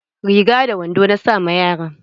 Riga da wando na sa ma yaran.